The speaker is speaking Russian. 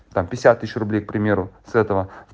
там пятьдесят тысяч рублей к примеру с этого